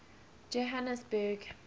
johhanesburg